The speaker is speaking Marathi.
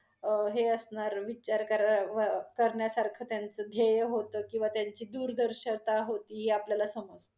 अं हे असणार विचार करावय्~ करण्यासारखं त्यांचं धेय होत, किंवा त्यांची दूरदरशता होती हे आपल्याला समजत.